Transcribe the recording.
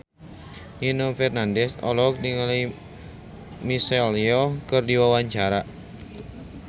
Nino Fernandez olohok ningali Michelle Yeoh keur diwawancara